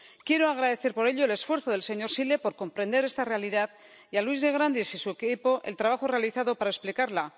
Quiero agradecer por ello el esfuerzo del señor Zīle por comprender esta realidad y a Luis de Grandes y su equipo el trabajo realizado para explicarla.